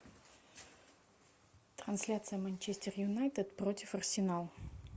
трансляция манчестер юнайтед против арсенал